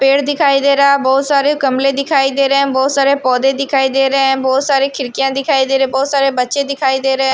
पेड़ दिखाई दे रहा है बहोत सारे गमले दिखाई दे रहे हैं बहोत सारे पौधे दिखाई दे रहे है बहोत सारे खिड़कियाँ दिखाई दे रहे हैं बहोत सारे बच्चे दिखाई दे रहे हैं।